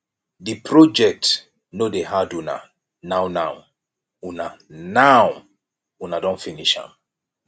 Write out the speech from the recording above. de project no dey hard una now now una now una don finish am